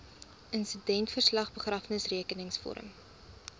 insidentverslag begrafnisrekenings vorm